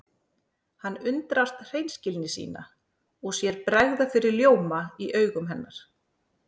Hann undrast hreinskilni sína og sér bregða fyrir ljóma í augum hennar.